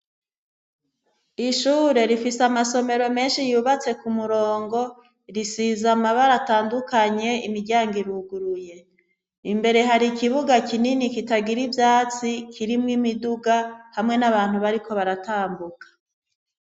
Ishure rifise amasomero menshi yubatse ku murongo, risize amabara atandukanye imiryango iruguruye. Imbere har'ikibuga kinini kitagira ivyatsi, kirimwo imiduga hamwe n'abantu bariko baratambuka.